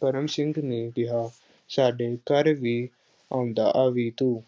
ਕਰਮ ਸਿੰਘ ਨੇ ਕਿਹਾ ਸਾਡੇ ਘਰ ਵੀ ਆਉਂਦਾ ਆਵੀਂ ਤੂੰ,